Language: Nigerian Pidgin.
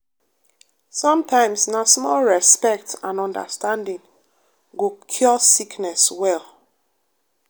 sometimes na small respect and understanding go cure sickness well.